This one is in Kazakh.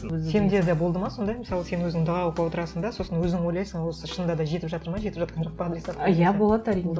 сенде де болды ма сондай мысалы сен өзің дұға оқып отырасың да сосын өзің ойлайсың осы шынында да жетіп жатыр ма жетіп жатқан жоқ па адресатқа иә болады әрине